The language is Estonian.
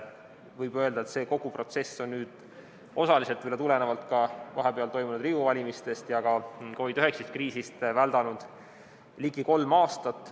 Võib öelda, et kogu see protsess, osaliselt tulenevalt ka vahepeal toimunud Riigikogu valimistest ja COVID‑19 kriisist, on väldanud ligi kolm aastat.